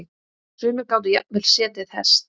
Sumir gátu jafnvel setið hest.